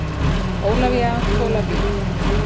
Ólafía Tolafie.